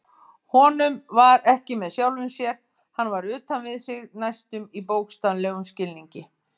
Honum var ekki með sjálfum sér, hann var utan við sig næstum í bókstaflegum skilningi.